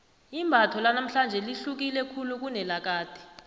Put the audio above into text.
imbatho lanamhlanje lihluke khulu kunelakade